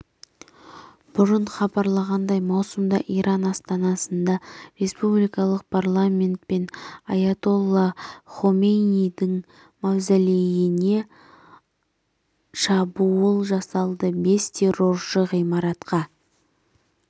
бұрын хабарланғандай маусымда иран астанасында республикалық парламент пен аятолла хомейнидің мавзолейіне шабуыл жасалды бес терроршы ғимаратқа